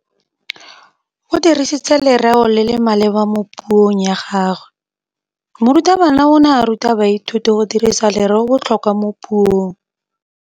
O dirisitse lerêo le le maleba mo puông ya gagwe. Morutabana o ne a ruta baithuti go dirisa lêrêôbotlhôkwa mo puong.